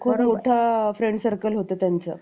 खूप मोठ्या friend circle होतं त्यांचं